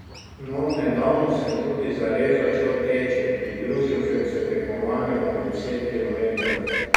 No, nedavno sem tudi zares začel teči, pridružil sem se tekmovanju na deset kilometrov.